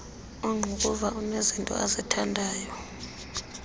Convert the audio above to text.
ongqukuva unezinto azithandayo